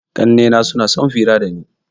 Ƙannena suna sun fira dani.